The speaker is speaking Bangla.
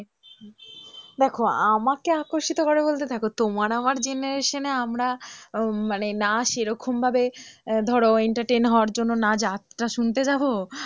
দেখো আমাকে আকর্ষিত করে বলতে দেখো তোমার আমার generation আমরা আহ মানে না সেরকম ভাবে ধরো entertain হওয়ার জন্য যাত্রা শুনতে যাব,